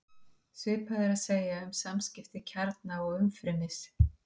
Svipað er að segja um samskipti kjarna og umfrymis.